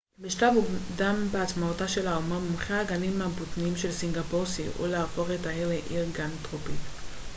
בשלב מוקדם בעצמאותה של האומה מומחי הגנים הבוטניים של סינגפור סייעו להפוך את האי לעיר גן טרופית